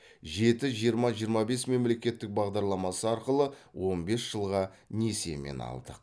жеті жиырма жиырма бес мемлекеттік бағдарламасы арқылы он бес жылға несиемен алдық